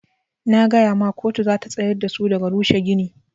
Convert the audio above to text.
Na gaya ma koto zata tsayar dasu daga rushe gini.